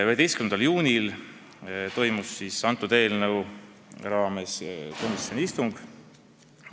11. juunil toimus selle eelnõu arutamiseks komisjoni istung.